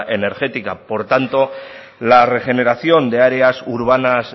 energética por tanto la regeneración de áreas urbanas